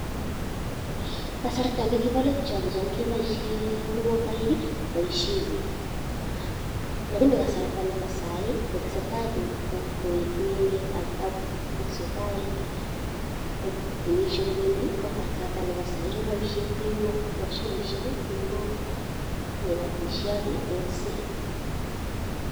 Kasarta nekibo let yon, kogicham keboishen mogomboik koboishen biik. Lakini kasarta nebo sai kotesetai emet ak kotesetai kenyishek kobendi ko kasarta nebo sai keboishen tingok, mashinishek tingok, kebotishe ak kegolsen.